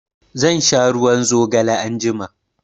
Zan sha ruwan zigale anjima.